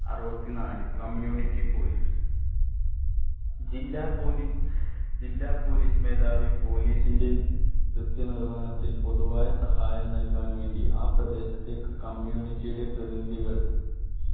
അറുപത്തി നാല് community police ജില്ല police ജില്ലാ police മേധാവി police ന്റേം കൃത്യ നിർവഹണത്തിൽ പൊതുവായ സഹായം നല്കാൻ വേണ്ടി ആ പ്രദേശത്തേക് community യുടെ പ്രതിനിധികൾ